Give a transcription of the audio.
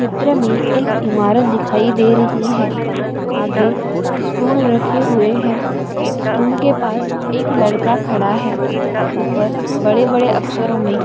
चित्र मे एक इमारत दिखाई दे रही है आगे स्टूल रखे हुए है स्टूल के पास एक लड़का खड़ा है ऊपर बड़े बड़े अक्षरों मे--